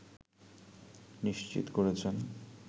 নিশ্চিত করেছেন